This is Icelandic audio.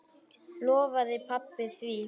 Lofaði pabba því.